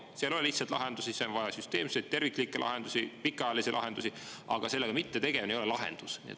Siin ei ole lihtsaid lahendusi, on vaja süsteemseid, terviklikke lahendusi, pikaajalisi lahendusi, aga sellega mittetegelemine ei ole lahendus.